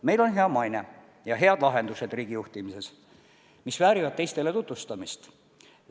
Meil on hea maine ja head lahendused riigijuhtimises, mis väärivad teistele tutvustamist.